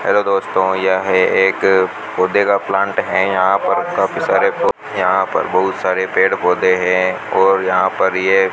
hello दोस्तों यह एक पौधे का प्लांट है यहां पर काफी सारे यहां पर बहुत सारे पेड़ पौधे हैं और यहां पर ये --